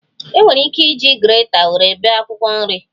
E nwere ike iji greta nwere bee akwụkwọ nri